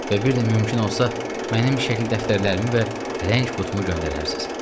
Və bir də mümkün olsa mənim şəkil dəftərlərimi və rəng qutumu göndərərsiz.